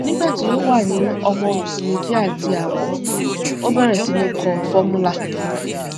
nígbà tí ó wà ní ọmọ oṣù méjì àti àbọ ó bẹrẹ sí ní kọ formula